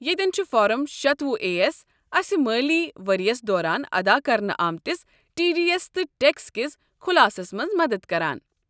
یتٮ۪ن چھُ فارم شتۄہُ اےایس اسہِ مٲلی ؤرِیَس دوران ادا کرنہٕ آمٕتِس ٹی ڈی ایس تہٕ ٹیکس کِس خُلاصس مَنٛز مدد کران